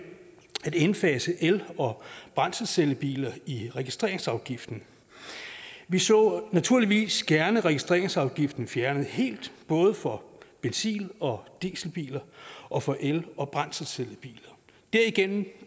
at indfase el og brændselscellebiler i registreringsafgiften vi så naturligvis gerne registreringsafgiften fjernet helt både for benzin og dieselbiler og for el og brændselscellebiler derigennem